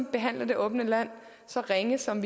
behandle det åbne land så ringe som